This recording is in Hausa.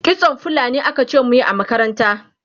kitson fulani akace muyi a makaranta